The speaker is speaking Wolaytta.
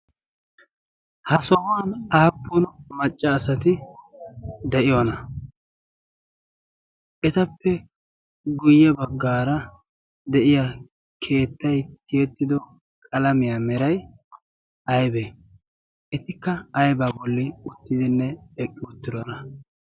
ha sohuwan aappun maccaasati de'iyoona etappe guyye baggaara de'iya keettay tiyettido qalamiyaa meray aybee etikka aybaa bolli uttidinne eqqidoona.